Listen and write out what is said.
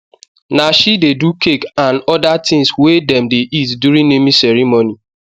na she de do cake an other things we dem de eat during naming ceremony